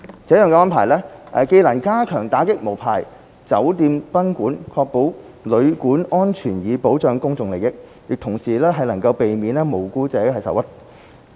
這樣的安排，既能加強打擊無牌酒店賓館，確保旅館安全以保障公眾利益，亦同時能避免無辜者受屈。